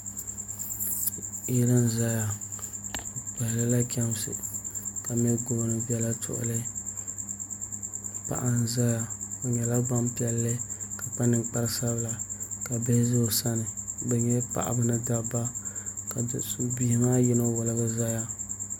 Yili n ʒɛya bi pililila chɛmsi ka mɛ gooni biɛla tuɣuli paɣa n ʒɛya o nyɛla Gbanpiɛlli ka kpa ninkpari sabila ka bihi ʒɛ o sani bi nyɛla paɣaba ni dabba ka bihi maa ni yino woligi ʒɛya